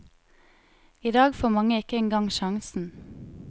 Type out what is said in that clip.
I dag får mange ikke engang sjansen.